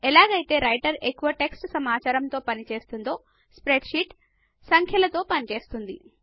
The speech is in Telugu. ఎలాగైతే రైటర్ ఎక్కువగా టెక్స్ట్ సమాచారముతో పని చేస్తుందో స్ప్రెడ్ షీట్ సంఖ్యలతో చేస్తుంది